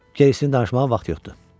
Cordanışmağa vaxt yoxdur.